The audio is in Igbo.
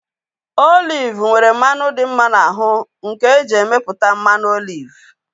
Oliv nwere mmanụ dị mma n'ahu nke eji emeputa mmanụ oliv